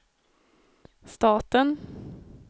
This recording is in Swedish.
staten